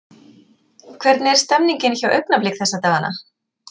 Hvernig er stemmningin hjá Augnablik þessa dagana?